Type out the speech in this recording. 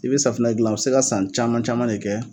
I bɛ safunɛ gilan u bɛ se ka san caman caman de kɛ.